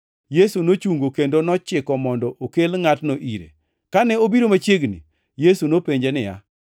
Yesu nochungo kendo nochiko mondo okel ngʼatno ire. Kane obiro machiegni, Yesu nopenje niya,